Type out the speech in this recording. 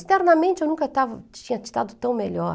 externamente eu nunca estava, tinha estado tão melhor.